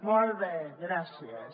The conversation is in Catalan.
molt bé gràcies